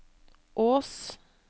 Ås